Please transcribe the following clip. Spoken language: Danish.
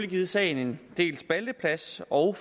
givet sagen en del spalteplads og